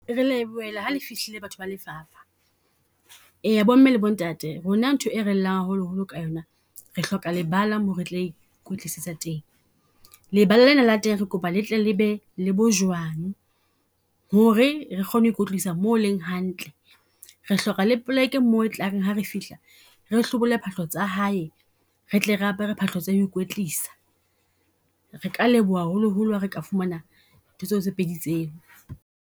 Re Lebohela ha le fihlile batho ba lefapha, eya bomme le bo ntate rona ntho e re llang haholoholo ka yo na. Re hloka lebala mo re tla ikwetlisetsa teng. Lebala lena la teng re kopa letle le be le bojwang, ho re re kgone ho ikwetlisa mo ho leng hantle. Re hloka le plek-e mo e tla reng hare fihla, re hlobole phahlo tsa hae, re tle re apere phahlo tsa ho ikwetlisa. Re ka leboha haholoholo ha re ka fumana ntho tseo tse pedi tseo.